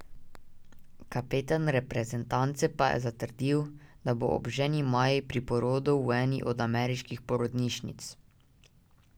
Kapetan reprezentance pa je zatrdil, da bo ob ženi Maji pri porodu v eni od ameriških porodnišnic.